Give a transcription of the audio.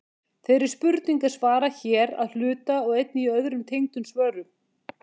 Þeirri spurningu er svarað hér að hluta og einnig í öðrum tengdum svörum.